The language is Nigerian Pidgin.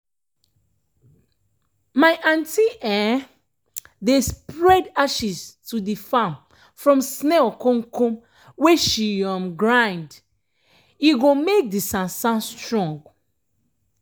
my aunty um dey spread ashes to de farm from snail komkom wey she um grind um e go make do sansan strong.